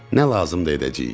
Nə lazımdır edəcəyik.